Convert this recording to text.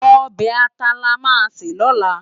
Òbè àtá làmá sé lòlá